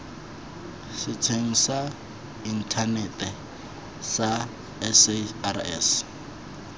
setsheng sa inthanete sa sars